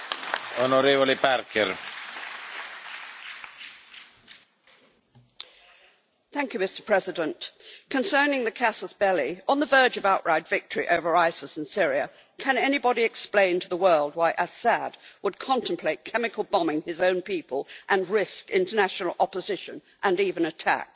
Mr President, concerning the casus belli, on the verge of outright victory over ISIS in Syria, can anybody explain to the world why Assad would contemplate chemical bombing his own people and risk international opposition and even attack? The Assad government would have nothing to gain at this juncture by the actions of which they stand accused.